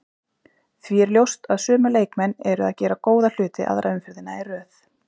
Því er ljóst að sömu leikmenn eru að gera góða hluti aðra umferðina í röð.